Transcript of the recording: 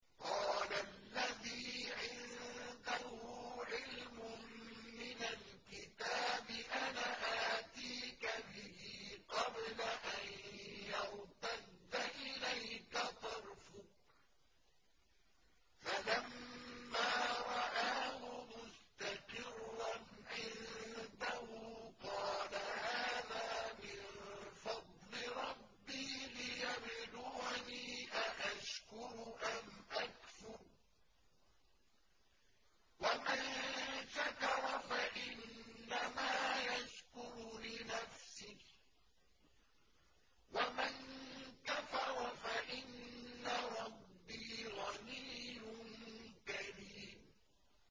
قَالَ الَّذِي عِندَهُ عِلْمٌ مِّنَ الْكِتَابِ أَنَا آتِيكَ بِهِ قَبْلَ أَن يَرْتَدَّ إِلَيْكَ طَرْفُكَ ۚ فَلَمَّا رَآهُ مُسْتَقِرًّا عِندَهُ قَالَ هَٰذَا مِن فَضْلِ رَبِّي لِيَبْلُوَنِي أَأَشْكُرُ أَمْ أَكْفُرُ ۖ وَمَن شَكَرَ فَإِنَّمَا يَشْكُرُ لِنَفْسِهِ ۖ وَمَن كَفَرَ فَإِنَّ رَبِّي غَنِيٌّ كَرِيمٌ